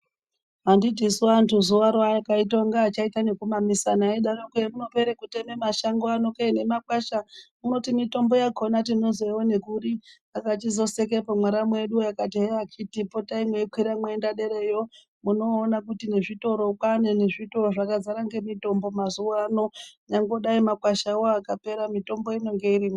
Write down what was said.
Handitisu antu zuvaro akaitange achaita nekumamisana eidaroko hemunopere kuteme mashango ano kee nemakwasha unoti mitombo yakona tinozoione kuri. Aka chizosekepo mwaramu wedu akati heya akhiti potai eikwira meienda derayo munoona kuti nezvitoro kwane nezvitoro zvakazara ngemitombo mazuva ano. Nyangwe makwasha akapera mitombo inenge irimwo.